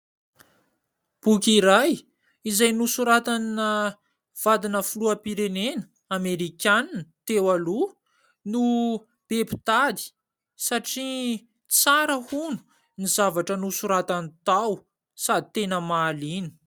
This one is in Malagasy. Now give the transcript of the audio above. Boky iray izay nosoratana vadina filoham-pirenena Amerikanina teo aloha no be mpitady satria tsara hono ny zavatra nosoratany tao sady tena mahaliana.